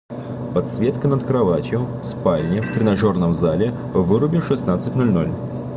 подсветка над кроватью в спальне в тренажерном зале выруби в шестнадцать ноль ноль